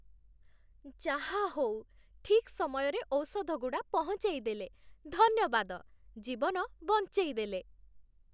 ଯାହାହଉ, ଠିକ୍ ସମୟରେ ଔଷଧଗୁଡ଼ା ପହଞ୍ଚେଇଦେଲେ, ଧନ୍ୟବାଦ । ଜୀବନ ବଞ୍ଚେଇଦେଲେ ।